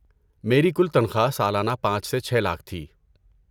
میری کل تنخواہ سالانہ پانچ سے چھے لاکھ تھی